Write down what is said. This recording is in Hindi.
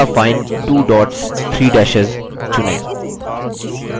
ultrafine 2 dots 3 dashes चुनें